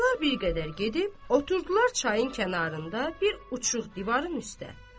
Ağalar bir qədər gedib oturdular çayın kənarında bir uçuq divarın üstə.